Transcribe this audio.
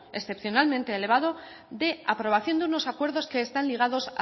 excepcionalmente elevado de aprobación de unos acuerdos que están ligados